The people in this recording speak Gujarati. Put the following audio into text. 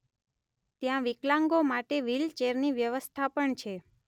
ત્યાં વિકલાંગો માટે વ્હીલ ચેરની વ્યવસ્થા પણ છે.